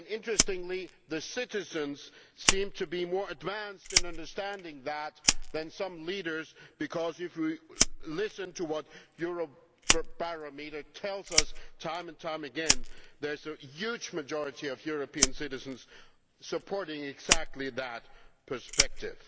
Interestingly, citizens seem to be more advanced in understanding that than some leaders because, if we listen to what Eurobarometer tells us time and time again, a huge majority of European citizens support exactly that perspective.